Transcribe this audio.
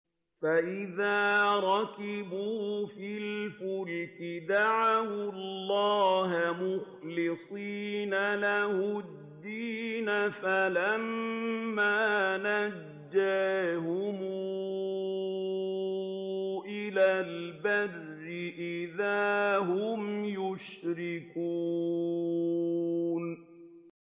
فَإِذَا رَكِبُوا فِي الْفُلْكِ دَعَوُا اللَّهَ مُخْلِصِينَ لَهُ الدِّينَ فَلَمَّا نَجَّاهُمْ إِلَى الْبَرِّ إِذَا هُمْ يُشْرِكُونَ